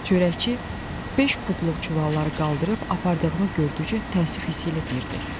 Çörəkçi beş pudluq çuvalları qaldırıb apardığımı gördükcə təəssüf hissi ilə deyirdi: